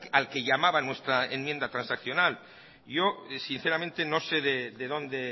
al que llamaba nuestra enmienda transaccional yo sinceramente no sé de dónde